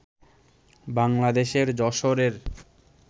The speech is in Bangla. বাংলাদেশের যশোরের